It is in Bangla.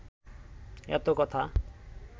এত কথা